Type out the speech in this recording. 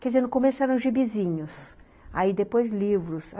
Quer dizer, no começo eram gibizinhos, aí depois livros.